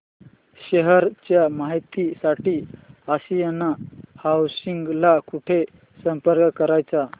share च्या माहिती साठी आशियाना हाऊसिंग ला कुठे संपर्क करायचा